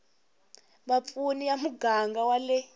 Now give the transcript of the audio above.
vapfuni ya muganga wa le